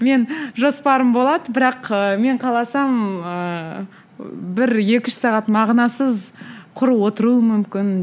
мен жоспарым болады бірақ ы мен қаласам ыыы бір екі үш сағат мағынасыз құр отыруым мүмкін